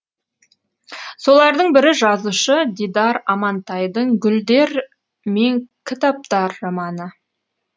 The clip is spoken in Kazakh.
солардың бірі жазушы дидар амантайдың гүлдер мен кітаптар романы